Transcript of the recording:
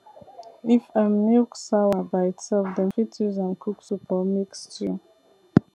if um milk sawa by itself dem fit use am cook soup or make stew